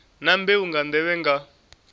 na mbeu nga nḓevhe nga